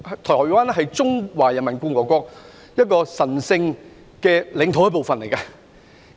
台灣是中華人民共和國神聖領土的一部分。